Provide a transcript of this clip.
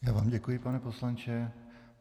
Já vám děkuji, pane poslanče.